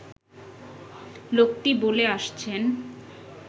লোকটি বলে আসছেন